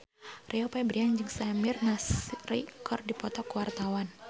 Rio Febrian jeung Samir Nasri keur dipoto ku wartawan